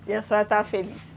E a senhora estava feliz?